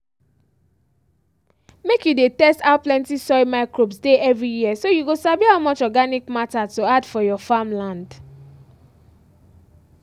make you dey test how plenty soil microbes dey every year so you go sabi how much organic matter to add for your farmland